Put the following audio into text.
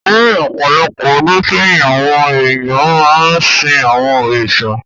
Ní ọ̀pọ̀ ọdún sẹ́yìn, àwọn èèyàn máa ń sìn àwọn òrìṣà.